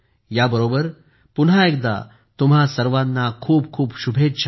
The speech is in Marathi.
याबरोबर पुन्हा एकदा तुम्हा सर्वांना खूप खूप शुभेच्छा